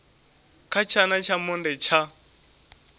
kha tshana tsha monde tsha